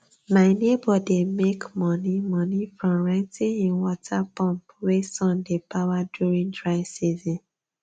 my neighbor dey make money money from renting him water pump wey sun dey power during dry season